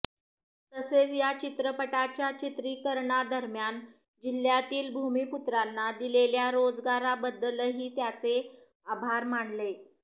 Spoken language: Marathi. तसेच या चित्रपटाच्या चित्रीकरणादरम्यान जिल्ह्यातील भूमीपुत्रांना दिलेल्या रोजगाराबद्दलही त्याचे आभार मानले